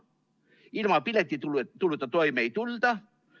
Ilma piletituluta toime ei tulda.